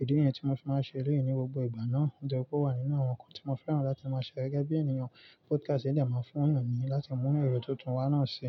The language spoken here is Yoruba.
Èdè yìí ni tí mo fi máa ń ṣe ilé yìí ní gbogbo ìgbà náà. Nítorí pé ó wà nínú àwọn nǹkan tí mo fẹ́ràn láti máa ṣe gẹ́gẹ́ bí ènìyàn. Podcast yìí dẹ̀ máa ń fún ènìyàn láti mú èrò tuntun wá náà ṣe.